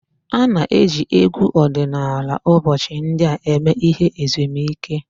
A na-eji egwu ọdịnala ụbọchị ndị a eme ihe ezumike